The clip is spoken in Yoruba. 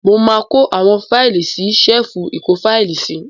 Mo máa kó àwọn fáílì sí ṣẹ́èfù ìkófáílì sí.